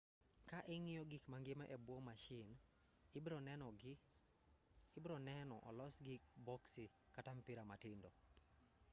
ka ing'iyo gik mangima e buo mashin ibronenoni olosgi boksi kata mpira matindo